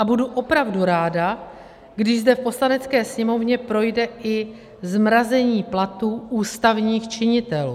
A budu opravdu ráda, když zde v Poslanecké sněmovně projde i zmrazení platů ústavních činitelů.